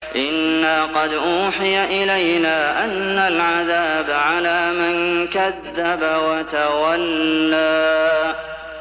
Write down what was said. إِنَّا قَدْ أُوحِيَ إِلَيْنَا أَنَّ الْعَذَابَ عَلَىٰ مَن كَذَّبَ وَتَوَلَّىٰ